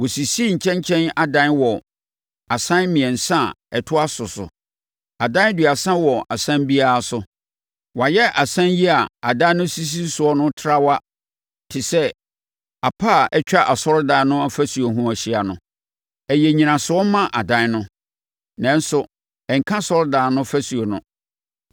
Wɔsisii nkyɛnkyɛn adan wɔ asan mmiɛnsa a ɛtoa so so. Adan aduasa wɔ asan biara so. Wɔayɛ asan yi a adan no sisi soɔ no traawa te sɛ apa a atwa asɔredan no ɔfasuo no ho ahyia. Ɛyɛ nnyinasoɔ ma adan no, nanso ɛnka asɔredan no ɔfasuo no.